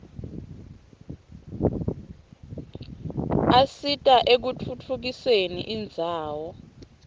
asita ekutfutfu usen indzawo